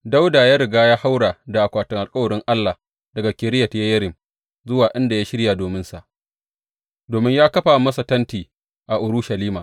Dawuda ya riga ya haura da akwatin alkawarin Allah daga Kiriyat Yeyarim zuwa inda ya shirya dominsa, domin yă kafa masa tenti a Urushalima.